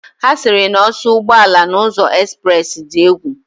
Ha siri na oso ugboala na uzo express di egwu.